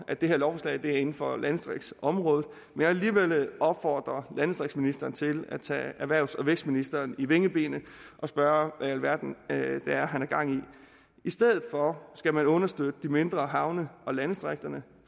at det her lovforslag ligger inden for landdistriktsområdet men vil alligevel opfordre landdistriktsministeren til at tage erhvervs og vækstministeren ved vingebenet og spørge hvad i alverden det er han har gang i i stedet skal man understøtte de mindre havne og landdistrikterne